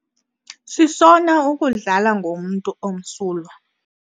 Sisona ukudlala ngomntu omsulwa.